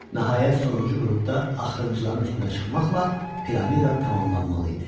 Nəhayət sonuncu qrupda axırıncıların üstünə çıxmaqla piramida tamamlanmalı idi.